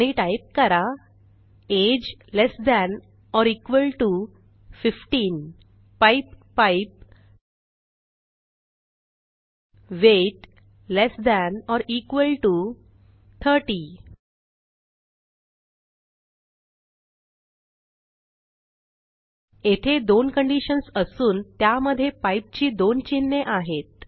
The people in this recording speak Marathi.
आणि टाईप करा age less than or equal to 15 pipe pipe weight less than or equal to 30 येथे दोन कंडिशन्स असून त्यामधे पाइप ची दोन चिन्हे आहेत